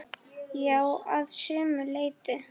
Já, að sumu leyti.